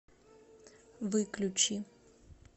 выключи